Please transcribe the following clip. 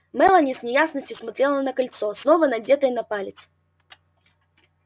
мелани с неясностью смотрела на кольцо снова надетое на палец